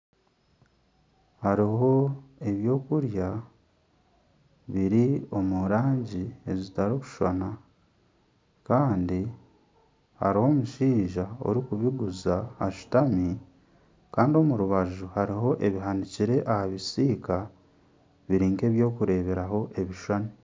Hariho ebyokurya biri omu rangi zitakushushana. Kandi hariho omushaija orikubiguza ashutami. Kandi omu rubaju hariho ebihandiikire aha bisiika biri nk'ebyokureeberaho ebishushani.